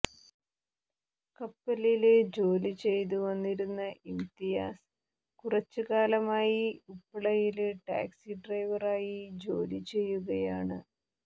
കപ്പലില് ജോലിചെയ്തു വന്നിരുന്ന ഇംതിയാസ് കുറച്ചുകാലമായി ഉപ്പളയില് ടാക്സി ഡ്രൈവറായി ജോലി ചെയ്യുകയാണ്